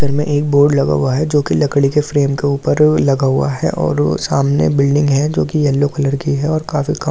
घर में एक बोर्ड लगा हुआ है जो कि लकड़ी के फ्लेम के ऊपर लगा हुआ है और वो सामने बिल्डिंग है जो कि येलो कलर की है और काफ़ी कम कपडे भी टगे हुए --